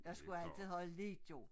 Jeg skulle altid have lidt jo